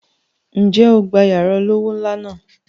Ǹjẹ́ o gba yàrá olówó ńlá náà?